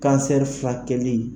filakɛli.